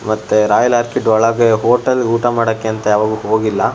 ಮತ್ತೆ Royal Orchid ಒಳಗೆ ಹೋಟೆಲ್ಗೆ ಊಟ ಮಾಡಕ್ ಅಂತ ಹೋಗಿಲ್ಲ --